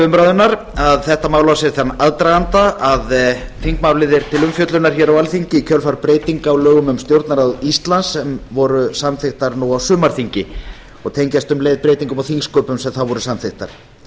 umræðunnar að þetta mál á sér þann aðdraganda að þingmálið er til umfjöllunar hér á alþingi í kjölfar breytinga á lögum um stjórnarráð íslands sem voru samþykktar nú á sumarþingi og tengjast um leið breytingum á þingsköpum sem þá voru samþykktar þess má